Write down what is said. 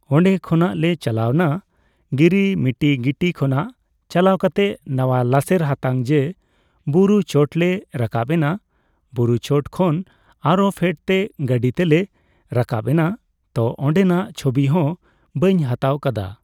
ᱚᱸᱰᱮ ᱠᱷᱚᱱᱟᱜ ᱞᱮ ᱪᱟᱞᱟᱣᱱᱟ ᱜᱤᱨᱤ ᱢᱤᱴᱤ ᱜᱤᱴᱤ ᱠᱷᱚᱱᱟᱜ ᱪᱟᱞᱟᱣ ᱠᱟᱛᱮ ᱱᱟᱣᱟ ᱞᱟᱥᱮᱨ ᱦᱟᱛᱟᱝ ᱡᱮ ᱵᱩᱨᱩ ᱪᱚᱴ ᱞᱮ ᱨᱟᱠᱟᱵᱽ ᱮᱱᱟ ᱵᱩᱨᱩ ᱪᱚᱴ ᱠᱷᱚᱱ ᱟᱨᱦᱚ ᱯᱷᱮᱰᱛᱮ ᱜᱟᱹᱰᱤ ᱛᱮᱞᱮ ᱨᱟᱠᱟᱵᱽ ᱮᱱᱟ ᱛᱳ ᱚᱸᱰᱮᱱᱟᱜ ᱪᱷᱚᱵᱤ ᱦᱚᱸ ᱵᱟᱹᱧ ᱦᱟᱛᱟᱣ ᱠᱟᱫᱟ